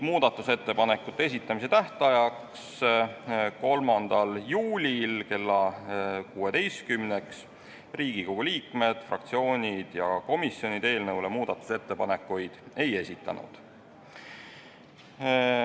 Muudatusettepanekute esitamise tähtajaks, 3. juuliks kella 16-ks Riigikogu liikmed, fraktsioonid ja komisjonid eelnõu muudatusettepanekuid ei esitanud.